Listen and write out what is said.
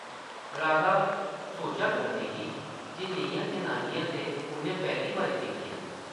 राधा सोचा करदी ही जे नेहियां जनानियां ते उʼन्नै पैह्ली बारी दिक्खियां न ।